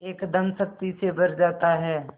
एकदम शक्ति से भर जाता है